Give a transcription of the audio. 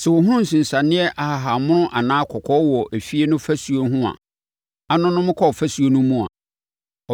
Sɛ ɔhunu nsensaneɛ ahahammono anaa kɔkɔɔ wɔ efie no afasuo ho a anonom kɔ afasuo no mu a,